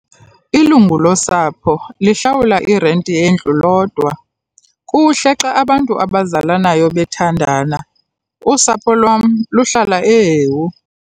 Ilungu losapho lihlawula irenti yendlu lodwa. kuhle xa abantu abazalanayo bethandana, usapho lwam luhlala eHewu.